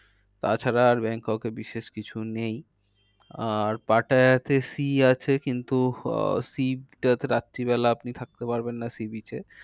তাছাড়া আর ব্যাংককে বিশেষ কিছু নেই। আর পাটায়াতে sea আছে কিন্তু আহ sea টাতে রাত্রি বেলা আপনি থাকতে পারবেন না sea beach এ।